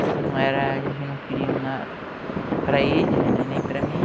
Isso não era... a gente não queria para eles, nem para mim.